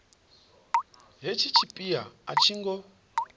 hetshi tshipia a tshi ngo